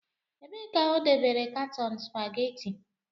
Ebee ka o dobere katọn supageti?